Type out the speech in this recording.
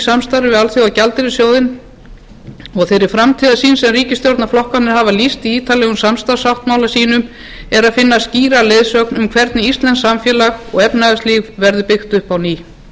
samstarfi við alþjóðagjaldeyrissjóðinn og í þeirri framtíðarsýn sem ríkisstjórnarflokkarnir hafa lýst í ítarlegum samstarfssáttmála sínum er að finna skýra leiðsögn um hvernig íslenskt samfélag og efnahagslíf verður byggt upp á ný